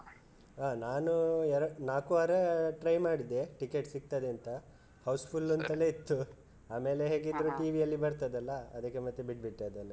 ಹ ನಾನು ನಾಲ್ಕು ವಾರ try ಮಾಡಿದೆ ticket ಸಿಗ್ತದೆ ಅಂತ house full ಅಂತಲೇ ಇತ್ತು ಆಮೇಲೆ ಹೇಗಿದ್ರು TV ಅಲ್ಲಿ ಬರ್ತದೆ ಅಲ ಅದಕ್ಕೆ ಮತ್ತೆ ಬಿಟ್ ಬಿಟ್ಟೆ ಅದನ್ನ.